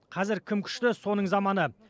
қазір кім күшті соның заманы